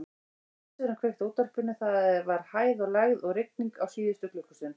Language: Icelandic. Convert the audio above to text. Bílstjórinn kveikti á útvarpinu: það var hæð og lægð og rigning á síðustu klukkustund.